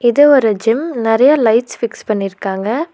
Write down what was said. இது ஒரு ஜிம் நெறைய லைட்ஸ் ஃபிக்ஸ் பண்ணிருக்காங்க.